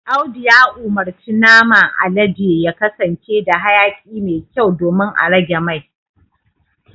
Audu ya umurci naman alade ya kasance da hayaki mai kyau domin a rage mai